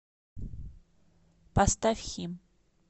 поставь хим